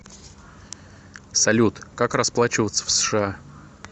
салют как расплачиваться в сша